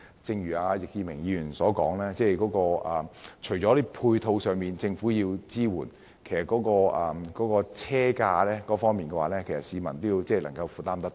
正如易志明議員所說般，要電動車普及化，除了政府要提供支援配套外，車價亦必須讓市民負擔得來。